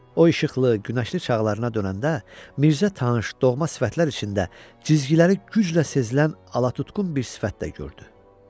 O işıqlı, günəşli çağlarına dönəndə Mirzə tanış, doğma sifətlər içində cizgiləri güclə sezilən alatutqun bir sifət də gördü.